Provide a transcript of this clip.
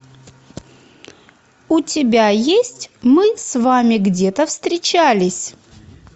у тебя есть мы с вами где то встречались